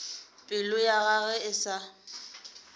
pelo ya gagwe e sa